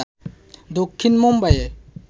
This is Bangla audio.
দক্ষিণ মুম্বাইয়ের